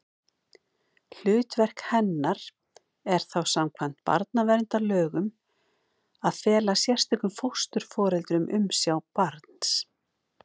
Hlutverk hennar er þá samkvæmt barnaverndarlögum að fela sérstökum fósturforeldrum umsjá barns.